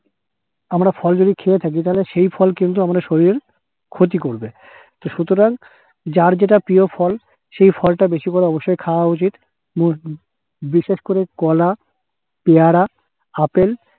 আমরা ফল যদি খেয়ে থাকি তাহলে সেই ফল কিন্তু আমাদের শরীরের ক্ষতি করবে । তো সুতরাং যার যেটা প্রিয় ফল, সেই ফলটা বেশি করে অবশ্যই খাওয়া উচিত উম বিশেষ করে কলা পেয়ারা আপেল